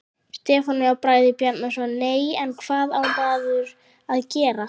Stefán Bragi Bjarnason: Nei, en hvað á maður að gera?